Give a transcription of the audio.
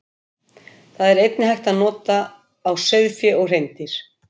Þær er einnig hægt að nota á sauðfé og hreindýr.